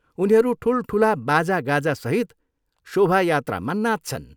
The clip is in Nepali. उनीहरू ठुलठुला बाजागाजासहित शोभायात्रामा नाच्छन्।